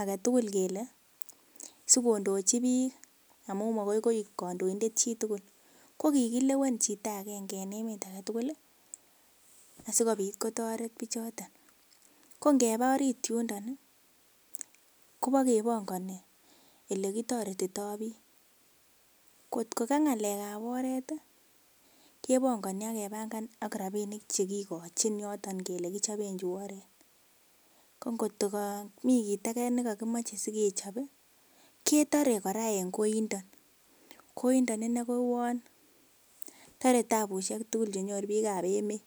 aketukul kele sikodochi bik amun makoi koik kondoindet chitukul ko kikilewen chito agenge en emet agetukul lii asikopit kotoret bichoton. Ko ngeba orit yundon nii kebo kepongoni ole kitoretito bik kotko Kam ngalekab oret tii kepongoni ak kepanga ak rabinik chekokochi yoton kele kichoben chuu oret, ko ngokto komii kit age nekokimoche sikechobi ketoret Koraa en koindon. Koindon inee ko uwon tore tabushek tukuk chenyoru bikab emet.